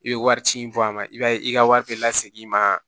I bɛ wari ci in bɔ a ma i b'a ye i ka wari bɛ la segin i ma